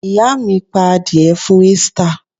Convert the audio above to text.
Ìyá mi pa adìẹ fún Easter!